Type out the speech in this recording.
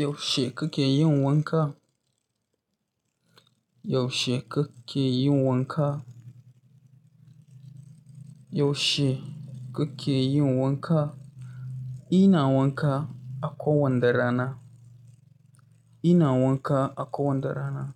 Yaushe kake yin wanka? Yaushe kuke yin wanka? Yaushe kuke yin wanka? Ina wanka a kowanda rana. Ina wanka a kowanda rana.